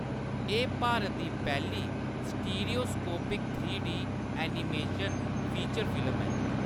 एह्‌‌ भारत दी पैह्‌ली stereoscopic three D animation feature film ऐ।